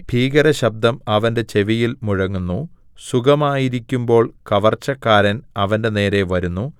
ഭീകരശബ്ദം അവന്റെ ചെവിയിൽ മുഴങ്ങുന്നു സുഖമായിരിക്കുമ്പോൾ കവർച്ചക്കാരൻ അവന്റെനേരെ വരുന്നു